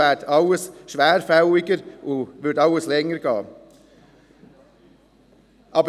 So würde alles schwerfälliger, und es würde länger dauern.